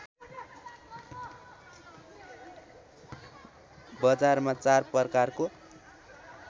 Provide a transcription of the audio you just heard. बजारमा चार प्रकारको